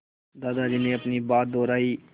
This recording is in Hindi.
दादाजी ने अपनी बात दोहराई